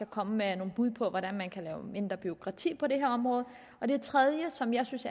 komme med nogle bud på hvordan man kan lave mindre bureaukrati på det her område det tredje som jeg synes